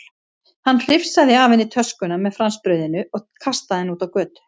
Hann hrifsaði af henni töskuna með franskbrauðinu og kastaði henni út á götu.